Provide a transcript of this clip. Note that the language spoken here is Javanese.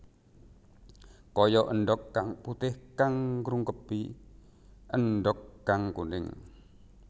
Kaya endhog kang putih kang ngrungkepi endhog kang kuning